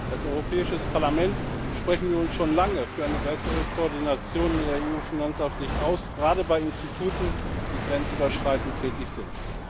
Als Europäisches Parlament sprechen wir uns schon lange für eine bessere Koordinierung in der EU Finanzaufsicht aus, gerade bei Instituten, die grenzüberschreitend tätig sind.